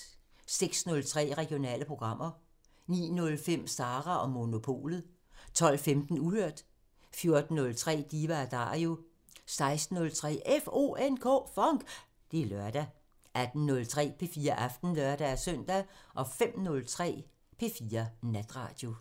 06:03: Regionale programmer 09:05: Sara & Monopolet 12:15: Uhørt 14:03: Diva & Dario 16:03: FONK! Det er lørdag 18:03: P4 Aften (lør-søn) 05:03: P4 Natradio